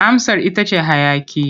Amsar ita ce hayaƙi.